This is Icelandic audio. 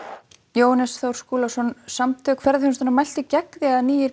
Jóhannes Þór Skúlason Samtök ferðaþjónustunnar mæltu gegn því að nýir